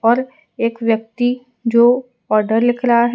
और एक व्यक्ति जो ऑर्डर लिख रहा है।